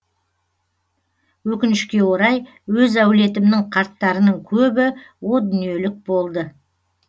өкінішке орай өз әулетімнің қарттарының көбі о дүниелік болды